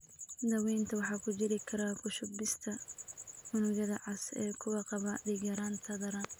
Daawaynta waxaa ku jiri kara ku shubista unugyada cas ee kuwa qaba dhiig-yaraan daran.